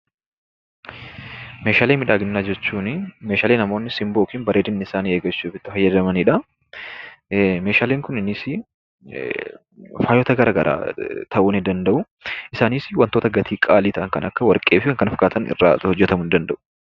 Meeshaalee miidhaginaa jechuunii meeshaalee namoonni simboo yokin bareedinni isaanii eeggachuuf itti fayyadamanidhaa. Meeshaaleen kunniinisi faayota garagaraa ta'uu nii danda'uu isaanis wantota gatii qaalii ta'an kan akka warqeefi kan kana fakkaatan irraa hojjetamuu ni danda'u.